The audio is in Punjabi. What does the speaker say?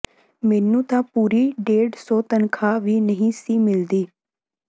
ਮੈਨੂੰ ਤਾਂ ਪੂਰੀ ਡੇਢ ਸੌ ਤਨਖ਼ਾਹ ਵੀ ਨਹੀਂ ਸੀ ਮਿਲ਼ਦੀ